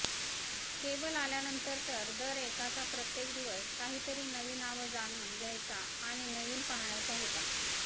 cable आल्यानंतर तर दरएकाचा प्रत्येक दिवस काहीतरी नवी नावं जाणून घ्यायचा आणि नवीन पाहण्याचा होता